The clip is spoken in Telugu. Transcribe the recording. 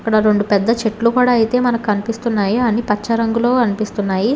రెండు పెద్ద చెట్లు కూడా అయితే మనకు కనిపిస్తున్నాయి అన్ని పచ్చ రంగులో కనిపిస్తున్నాయి.